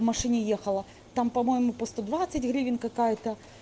машине ехала там по-моему по сто двадцать гривень какая-то